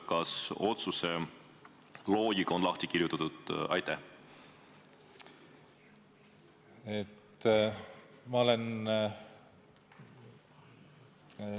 Kas otsuse loogika on lahti kirjutatud?